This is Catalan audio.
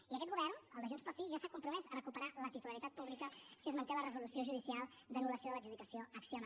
i aquest govern el de junts pel sí ja s’ha compromès a recuperar la titularitat pública si es manté la resolució judicial d’anullació de l’adjudicació a acciona